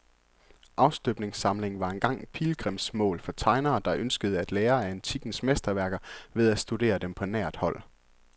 Afstøbningssamlingen var engang pilgrimsmål for tegnere, der ønskede at lære af antikkens mesterværker ved at studere dem på nært hold.